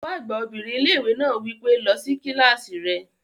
Olùkọ́ àgbà obìnrin ilé-ìwé náà wí pé, "lọ sí kílásì rẹ!"